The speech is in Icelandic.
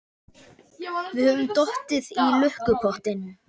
Við höfum dottið í lukkupottinn!